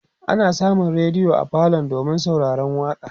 ana samun rediyo a falo domin sauraron waƙa